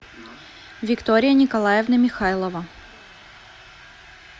виктория николаевна михайлова